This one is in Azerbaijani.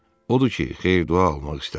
Odur ki, xeyir-dua almaq istədim.